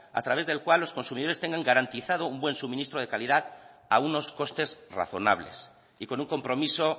a través del cual los consumidores tengan garantizado un buen suministro de calidad a unos costes razonables y con un compromiso